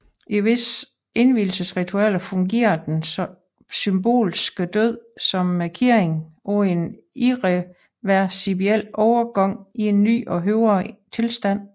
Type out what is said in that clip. I visse indvielsesritualer fungerede den symbolske død som markering af en irreversibel overgang til en ny og højere tilstand